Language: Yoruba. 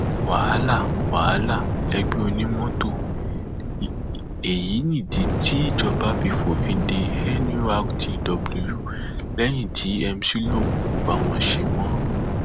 wàhálà wàhálà ẹgbẹ onímọtò l èyí nídìí tíjọba fi fòfin de nurtw lẹyìn tí mc lóun kò bá wọn ṣe mọ